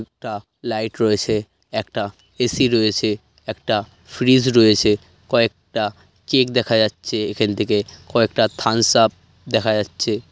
একটা লাইট রয়েছে একটা এ. সি রয়েছে একটা ফ্রিজ রয়েছে কয়েকটা কেক দেখা যাচ্ছে এখান থেকে কয়েকটা থামস আপ দেখা যাচ্ছে।